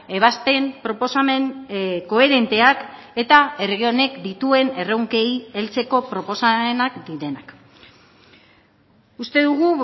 ebazpen proposamen koherenteak eta herri honek dituen erronkei heltzeko proposamenak direnak uste dugu